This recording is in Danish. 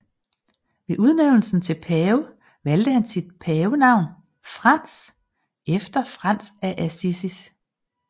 Ved udnævnelsen til pave valgte han sit pavenavn Frans efter Frans af Assisi